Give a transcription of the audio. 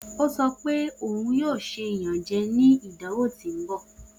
O sọ pe oun yoo ṣe iyanjẹ ni idanwo ti n bọ.